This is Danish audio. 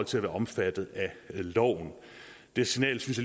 til at være omfattet af loven det signal synes